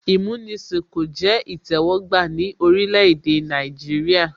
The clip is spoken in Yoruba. Ìmúnisìn kò jẹ́ ìtẹ́wọ́gbà ní orílẹ̀ èdè Nàìjíríà